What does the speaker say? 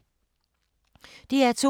DR2